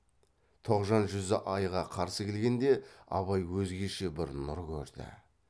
тоғжан жүзі айға қарсы келгенде абай өзгеше бір нұр көрді